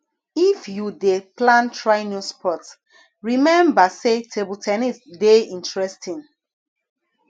if you dey plan try new sport rememba sey table ten nis dey interesting